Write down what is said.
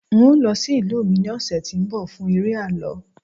n o lọ sí ìlú mi ni ọsẹ ti nbọ fún eré àlọ